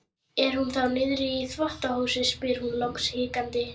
Er hún þá niðri í þvottahúsi? spyr hún loks hikandi.